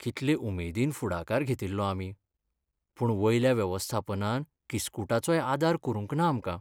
कितले उमेदीन फुडाकार घेतिल्लो आमी, पूण वयल्या वेवस्थापनान किस्कुटाचोय आदार करूंक ना आमकां.